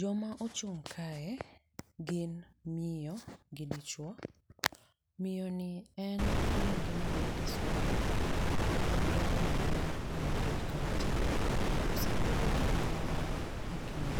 Joma ochung' kae gin miyo gi dichuo. Miyo ni en iluonge ni Gladys Wanga, en gavana mar Homa Bay kaunti. Osebedo kanyo higni